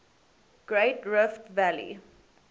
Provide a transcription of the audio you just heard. great rift valley